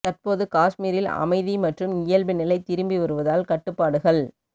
தற்போது காஷ்மீரில் அமைதி மற்றும் இயல்பு நிலை திரும்பி வருவதால் கட்டுப்பாடுகள்